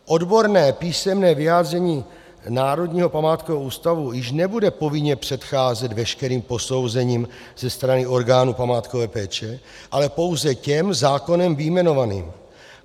Odborné písemné vyjádření Národního památkového ústavu již nebude povinně předcházet veškerým posouzením ze strany orgánů památkové péče, ale pouze těm zákonem vyjmenovaným.